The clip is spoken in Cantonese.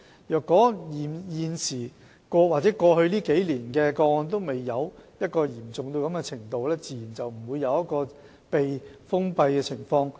如果過去數年的個案的情況未達到嚴重的程度，自然不會出現處所被封閉的情況。